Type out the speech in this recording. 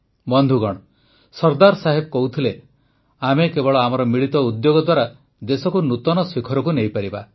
ବନ୍ଧୁଗଣ ସର୍ଦ୍ଦାର ସାହେବ କହୁଥିଲେ ଆମେ କେବଳ ଆମର ମିଳିତ ଉଦ୍ୟୋଗ ଦ୍ୱାରା ଦେଶକୁ ନୂତନ ଶିଖରକୁ ନେଇପାରିବା